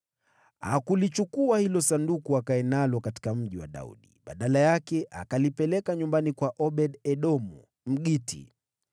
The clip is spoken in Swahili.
Hakulichukua hilo Sanduku akae nalo katika Mji wa Daudi. Badala yake, akalipeleka nyumbani kwa Obed-Edomu, Mgiti.